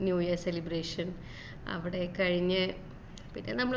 new year celebration അവിടെ കഴിഞ്ഞു പിന്നെ നമ്മള്